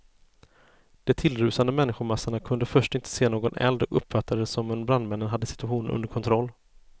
De tillrusande människomassorna kunde först inte se någon eld och uppfattade det som om brandmännen hade situationen under kontroll.